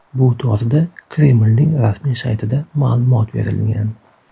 Bu to‘g‘rida Kremlning rasmiy saytida ma’lumot berilgan .